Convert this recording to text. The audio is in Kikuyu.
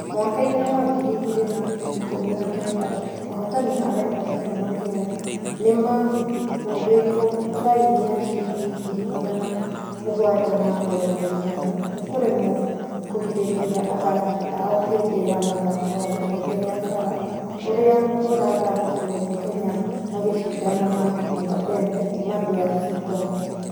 Mwaka-inĩ wa ngiri igĩri na ikũmi na kenda, ahotani a rekodi kuma kenya nĩmahoretwo faĩni ya shiringi ngiri magana mũgwaja ma mĩrongo ĩtano nĩkũremwo kũgirereria athaki ao hĩndĩ ya mũthako wa gĩkobe gĩa baara ũrĩa ũrathakiŕwo kenya mageshidana na unga pembe kuma DRC Congo.